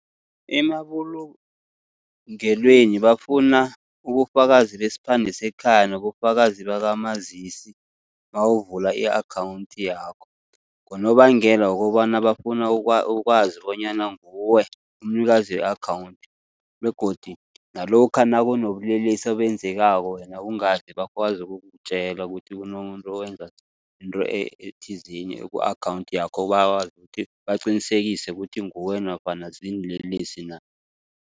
Emabulungelweni bafuna ubufakazi besiphande sekhaya nobufakazi bakamazisi mawuvula i-akhawunthi yakho. Ngonobangela wokobana bafuna ukwazi bonyana nguwe umnikazi we-akhawunthi begodu nalokha nakunobulelesi obenzekako wena ungazi, bakwazi ukukutjela kuthi kunomuntu owenza into ethizeni eku-akhawunthi yakho, bakwazi ukuthi baqinisekise ukuthi nguwe nofana ziinlelesi na.